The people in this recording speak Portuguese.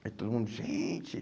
Aí todo mundo, gente,